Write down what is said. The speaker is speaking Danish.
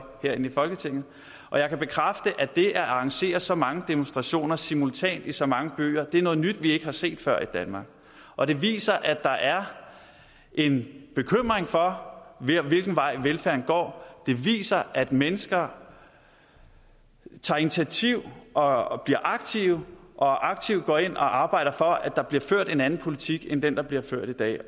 herinde i folketinget jeg kan bekræfte at det at arrangere så mange demonstrationer simultant i så mange byer er noget nyt vi ikke har set før i danmark og det viser at der er en bekymring for hvilken vej velfærden går det viser at mennesker tager initiativ og og bliver aktive og aktivt går ind og arbejder for at der bliver ført en anden politik end den der bliver ført i dag